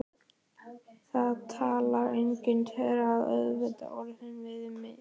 Það talar enginn þeirra aukatekið orð við mig.